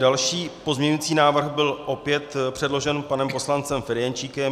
Další pozměňující návrh byl opět předložen panem poslancem Ferjenčíkem.